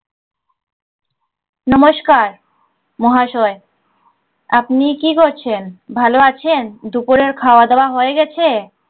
নমস্কার। মহাশয় আপনি কি করছেন? ভাল আছেন, দুপুরের খাওয়া দাওয়া হয়ে গেছে?